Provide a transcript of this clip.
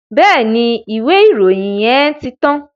Bẹ́ẹ̀ni, ìwé ìròyìn yẹn ti tán.